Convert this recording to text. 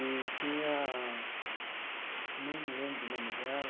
E tinha, não lembro o nome dela,